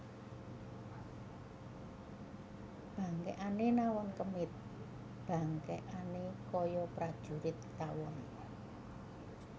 Bangkèkané nawon kemit bangkèkané kaya prajurit tawon